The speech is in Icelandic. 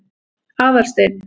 Aðalsteinn